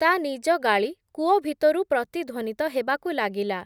ତା’ ନିଜ ଗାଳି କୂଅ ଭିତରୁ ପ୍ରତିଧ୍ଵନିତ ହେବାକୁ ଲାଗିଲା ।